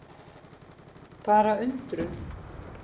Bara undrun.